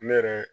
Ne yɛrɛ